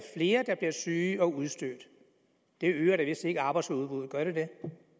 flere der bliver syge og udstødte det øger da vist ikke arbejdsudbuddet gør det det